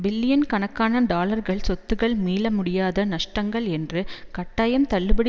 billion கணக்கான டாலர்கள் சொத்துக்கள் மீளமுடியாத நஷ்டங்கள் என்று கட்டாயம் தள்ளுபடி